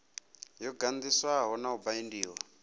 yo ganḓiswa na u baindiwa